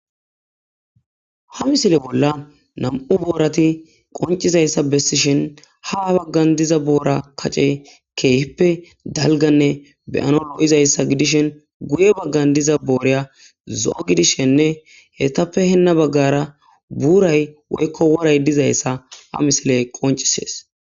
ha misile bolla nam7u boorati qoncizayssa bessishin ha baggan diza boora kacce keehippe dalganne beyano loo7izayssa gidishin guye baggan diza booreya zo7o gidishenne hetappe henna baggara buuray woykko woray dizayssa ha misile qoncisees